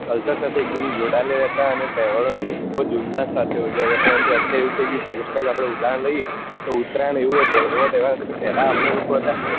culture સાથે એક દમ જોડાયેલા રહેતા અને તહેવારો ને ખુબ જ ઉલ્લાસ સાથે ઉજવતા પરંતુ અત્યારે એવું થઇ ગયું છે just like આપડે ઉદાહરણ લઈએ તો ઉતરાયણ એવું એક તઃ એવો તહેવાર હશે કે પેલા આપડે લ્લોકો હતા